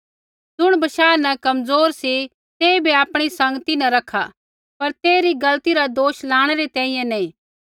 ज़ुण बशाह न कमज़ोर सी तेइबै आपणी संगती न रखा पर तेइरी गलती रा दोष लाणै री तैंईंयैं नैंई